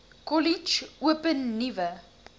kollege open nuwe